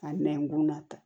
Ka nɛnkun nata